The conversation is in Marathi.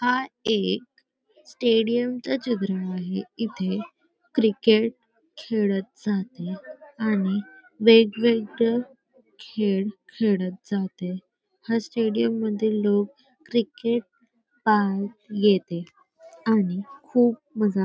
हा एक स्टेडियम चा चित्र आहे इथे क्रिकेट खेळत जाते आणि वेगवेगळे खेळ खेळत जाते हा स्टेडियम मधील लोक क्रिकेट पाहत येते आणि खूप मजा--